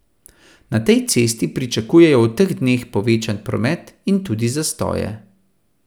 Na tej cesti pričakujejo v teh dneh povečan promet in tudi zastoje.